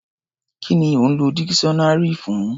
Kí ni ò ń lọ dikiṣọ́nárì fún?